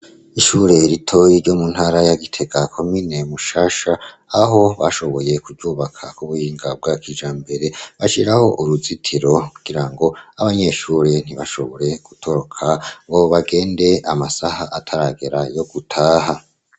Ishure ritoyi ryo mu ntara ya Gitega, komine Mushasha, aho bashoboye kuryubaka ku buhinga bwa kijambere, bashiraho uruzitiro kugirango abanyeshure ntibashobore gutoroka ngo bagende amasaha ataragera yo gutaha.